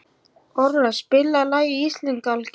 Ora, spilaðu lagið „Íslandsgálgi“.